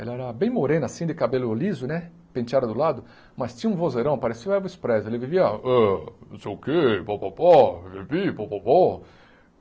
Ela era bem moreno, assim, de cabelo liso, né, penteado do lado, mas tinha um vozeirão, parecia o Elvis Presley, ele vivia, ó, não sei o quê, pó, pó, pó, pipipi, pó, pó, pó.